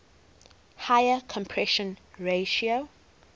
higher compression ratio